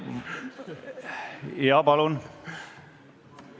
Tarmo Kruusimäe, palun!